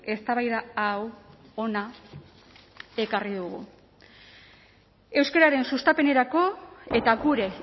eztabaida hau hona ekarri dugu euskararen sustapenerako eta gure